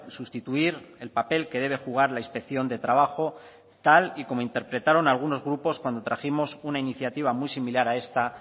sustituir el papel que debe jugar la inspección de trabajo tal y como interpretaron algunos grupos cuando trajimos una iniciativa muy similar a esta